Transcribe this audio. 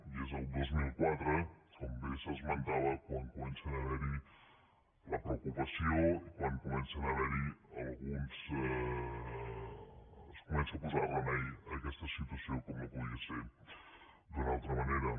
i és el dos mil quatre com bé s’esmentava quan comença a haver hi la preocupació i quan es comença a posar remei a aquesta situació com no podia ser d’una altra manera